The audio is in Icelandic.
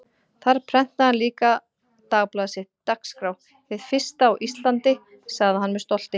Þar prentaði hann líka dagblaðið sitt, Dagskrá, hið fyrsta á Íslandi, sagði hann með stolti.